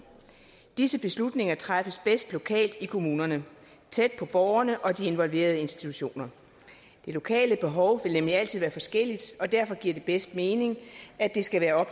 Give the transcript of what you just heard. disse beslutninger træffes bedst lokalt i kommunerne tæt på borgerne og de involverede institutioner de lokale behov vil nemlig altid være indbyrdes forskellige og derfor giver det bedst mening at det skal være